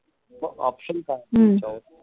मग option काय त्याच्यावर